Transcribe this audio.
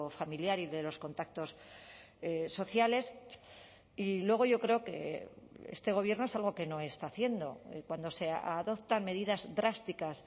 familiar y de los contactos sociales y luego yo creo que este gobierno es algo que no está haciendo cuando se adoptan medidas drásticas